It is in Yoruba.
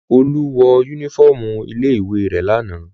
Olú wọ únífọ́ọ́mù ilé-ìwé rẹ̀ lánàá.